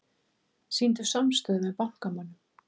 Sýndu samstöðu með bankamönnum